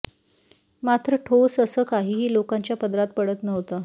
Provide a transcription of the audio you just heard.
मात्र ठोस असं काहीही लोकांच्या पदरात पडत नव्हतं